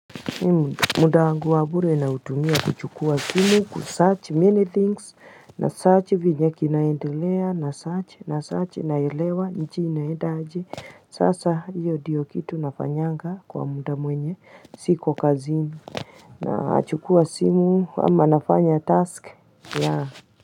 Muda wangu wa bure nautumia kuchukua simu kusearch many things na search vinyekinaendelea na search na search naelewa nchi inaenda aje sasa iyo diyo kitu nafanyanga kwa muda mwenye siko kazini Nachukua simu ama nafanya task yaa.